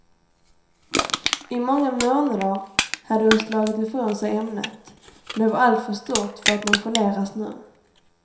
I många månader hade hon slagit ifrån sig ämnet, men det var alltför stort för att nonchaleras nu.